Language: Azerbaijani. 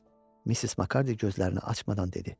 Missis Makardiy gözlərini açmadan dedi.